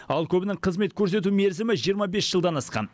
ал көбінің қызмет көрсету мерзімі жиырма бес жылдан асқан